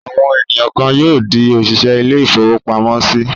Àwọn ènìyàn kan yóò di òṣìṣẹ́ ilé-ìfowópamọ́sí.